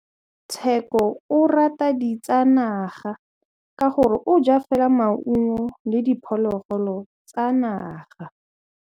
Tshekô o rata ditsanaga ka gore o ja fela maungo le diphologolo tsa naga.